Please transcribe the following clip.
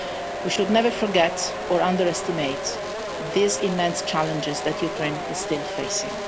We should never forget or underestimate these immense challenges that Ukraine is still facing.